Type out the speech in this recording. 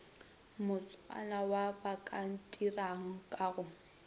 motsana wa bakantirang ka go